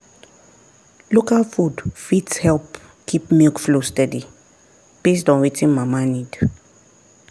local food fit help keep milk flow steady based on wetin mama need.